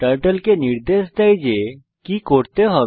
turtle কে নির্দেশ দেয় যে কি করতে হবে